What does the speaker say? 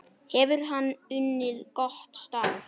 Hefur hann unnið gott starf?